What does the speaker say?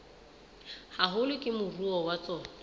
haholo ke moruo wa tsona